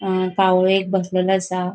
अ कावळो एक बसलेलो आसा.